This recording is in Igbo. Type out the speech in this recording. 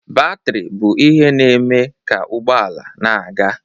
Batrị bụ ihe na-eme ka ụgbọ ala na-aga.